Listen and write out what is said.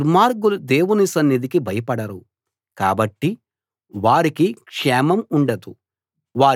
దుర్మార్గులు దేవుని సన్నిధికి భయపడరు కాబట్టి వారికి క్షేమం ఉండదు వారి జీవితకాలం అశాశ్వతమైన నీడలాగా ఉంటుంది